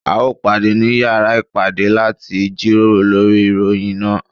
A ó pàdé ní yàrá ìpàdé láti jíròrò lórí ìròyìn náà.